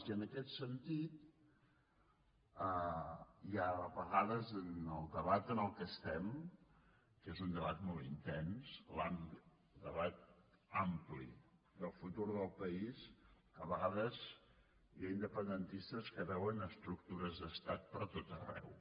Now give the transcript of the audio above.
i en aquest sentit a vegades en el debat en el qual estem que és un debat molt intens el debat ampli del futur del país a vegades hi ha independentistes que veuen estructures d’estat per tot arreu